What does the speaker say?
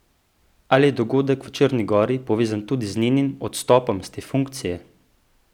Ali je dogodek v Črni gori povezan tudi z njenim odstopom s te funkcije?